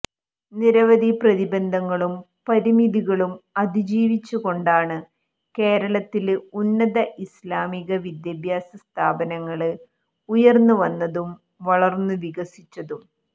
നിരവധി പ്രതിബന്ധങ്ങളും പരിമിതികളും അതിജീവിച്ചുകൊണ്ടാണ് കേരളത്തില് ഉന്നത ഇസ്ലാമിക വിദ്യാഭ്യാസ സ്ഥാപനങ്ങള് ഉയര്ന്നുവന്നതും വളര്ന്നു വികസിച്ചതും